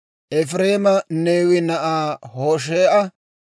Efireema Neewe na'aa Hoshee'a;